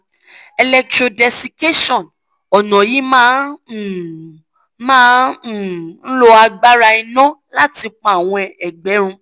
electrodesiccation: ọ̀nà yìí máa um ń máa um ń lo agbára iná láti pa àwọn ẹ̀gbẹ́ run